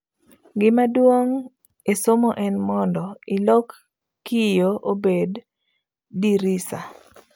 'Gima duong e somo en mondo ilok kiyo obed dirisa.''